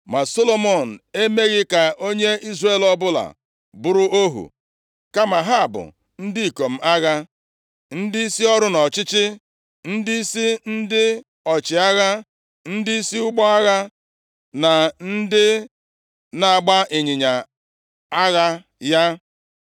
Ma Solomọn emeghị ka onye Izrel ọbụla bụrụ ohu. Kama ha bụ ndị ikom agha, ndịisi ọrụ nʼọchịchị, ndịisi ndị ọchịagha, ndịisi ụgbọ agha na ndị na-agba ịnyịnya agha ya.